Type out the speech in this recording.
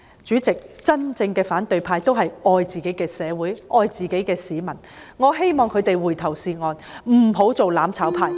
主席，真正的反對派都是愛自己的社會、愛自己的市民的，我希望他們回頭是岸，不要做"攬炒派"。